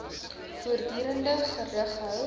voortdurend gerig hou